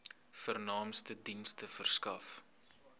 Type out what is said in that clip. vernaamste dienste verskaf